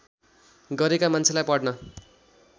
गरेका मान्छेलाई पढ्न